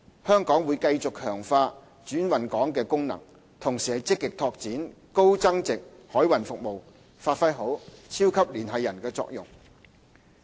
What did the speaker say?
香港會繼續強化轉運港功能，同時積極拓展高增值海運服務，發揮好"超級聯繫人"的作用。